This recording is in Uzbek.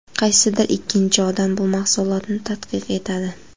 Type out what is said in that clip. Qaysidir ikkinchi odam bu mahsulotni tadqiq etadi.